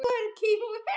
Vörn: Aron Ý.